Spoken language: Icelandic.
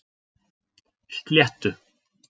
Sléttu